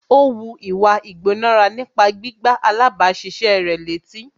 Ó wu ìwà ìgbónára nípa gbígbá alábàáṣiṣé rẹ̀ létí